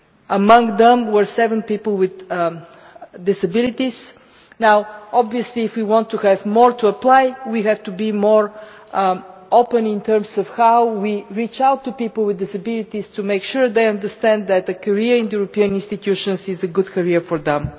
Among them were seven people with disabilities. Obviously, if we want more to apply we have to be more open in terms of how we reach out to people with disabilities to make sure they understand that a career in the European institutions is a good career for them.